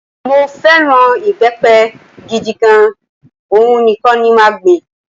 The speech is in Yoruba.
Mó fẹ́ràn ìbẹ́pẹ gidi gan, òhun nìkan ni màá gbìn